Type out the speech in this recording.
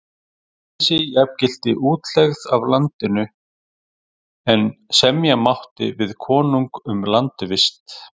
Friðleysi jafngilti útlegð af landinu, en semja mátti við konung um landvist.